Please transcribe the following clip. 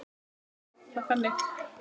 Við skulum orða það þannig.